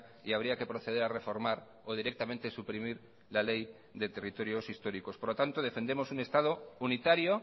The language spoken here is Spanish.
y habría que proceder a reformar o directamente suprimir la ley de territorios históricos por lo tanto defendemos un estado unitario